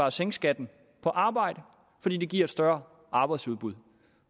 at sænke skatten på arbejde fordi det giver et større arbejdsudbud